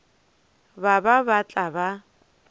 ba ba ba tla ba